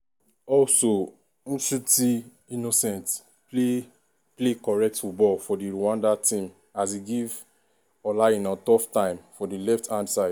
also nshuti innocent play play correct football for di rwanda team as e give ola aina tough time for di left hand side.